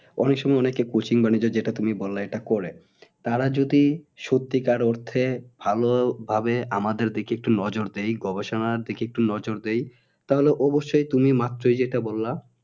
অনেকে অনেক সময়বানিয়ে দেয় যেটা তুমি বললে এটা করলে তারা যদি সত্যিকার অর্থে ভালোভাবে আমাদের দিকে একটু নজর দেয় গবেষণার দিকে নজর দেয় তাহলে অবশ্যই তুমি মাত্রই যেইটা বললা